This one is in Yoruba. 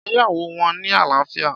Ìgbéyàwó wọn ní àlàáfíà